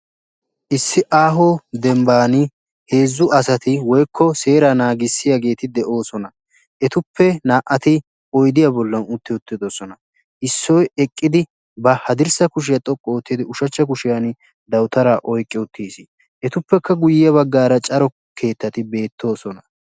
IIssi aaho dembbaan heezzu asati woykko seeraa naagissiyaageti de'oosona. etuppe na"atti oydiyaa bollan utti uttidosona. issoy eqqidid ba haddirssa kushshiyaa xoqqu ottiidi ushshachcha kushshiyaan dawutaraa oyqqi uttiis. etuppekka guyaara cora keettati beettoosona.